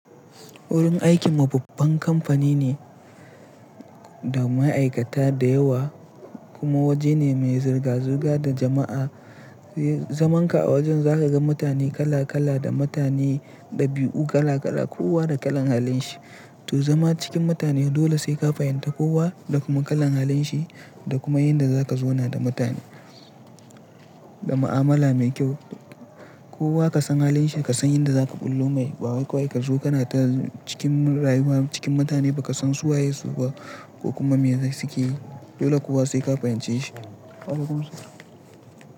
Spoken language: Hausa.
Wurin aikin mu babban kamfani ne da ma'aikata da yawa kuma waje ne mai zirga-zirga da jama'a. Zamanka a wajen za ka ga mutane kala-kala da mutane ɗabi'u kala-kala kowa da kalan halin shi. To zama cikin mutane dole sai ka fahimta kowa da kuma kalan halin shi da kuma yanda za ka zauna da mutane da ma'amala mai kyau. Kowa ka san halin shi ka san yanda za ka bullo mai. Ba wai kawai ka zo kana ta cikin rayuwa cikin mutane ba ka san su waye su ba ko kuma me suke yi. Dole kowa sai ka fahimce shi.